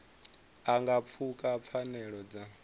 a nga pfuka pfanelo dza